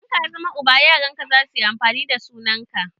Idan ka zama uba, yaran ka zasu yi amfani da sunan ka.